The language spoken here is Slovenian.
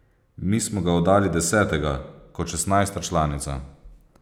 Mi smo ga oddali desetega kot šestnajsta članica.